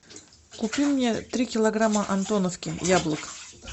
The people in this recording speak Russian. купи мне три килограмма антоновки яблок